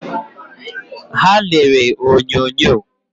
Ha lere onyonyo